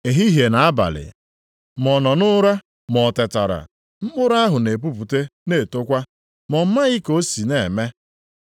Ehihie na abalị, ma ọ nọ nʼụra ma o tetara, mkpụrụ ahụ na-epupụte na-etokwa, ma ọ maghị ka o si na-eme.